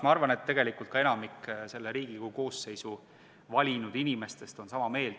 Ma arvan, et tegelikult on ka enamik selle Riigikogu koosseisu valinud inimestest sama meelt.